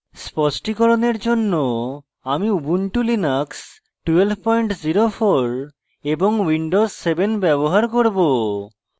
স্পষ্টিকরণের জন্য আমি ubuntu linux 1204 এবং windows 7 ব্যবহার করব